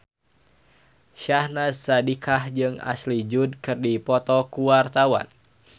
Syahnaz Sadiqah jeung Ashley Judd keur dipoto ku wartawan